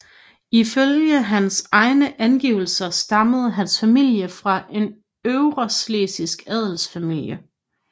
Ifølge hans egne angivelse stammede hans familie fra en øvreschlesisk adelsfamilie